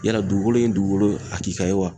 Yala dugukolo in ye dugukolo hakilka ye wa?